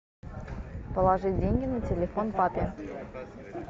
положить деньги на телефон папе